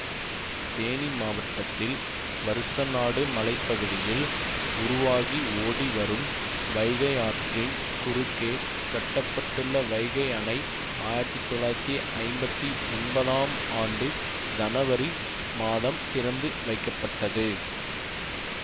தேனி மாவட்டத்தில் வருசநாடு மலை பகுதியில் உருவாகி ஓடி வரும் வைகை ஆற்றின் குறுக்கே கட்ட பட்டுள்ள வைகை அணை ஆயிரத்தி தொள்ளாயிரத்தி ஐம்பத்தி ஒன்பதாம் ஆண்டு ஜனவரி மாதம் திறந்து வைக்கப்பட்டது